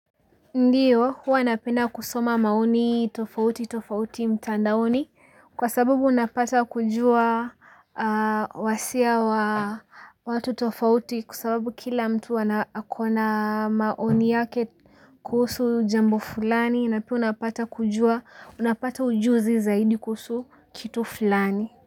Ndio, huwa napenda kusoma maoni tofauti tofauti mtandaoni kwa sababu unapata kujua, wasia wa watu tofauti kwa sababu kila mtu ako na maoni yake. Kuhusu jambo fulani na pia unapata kujua unapata ujuzi zaidi kuhusu kitu fulani.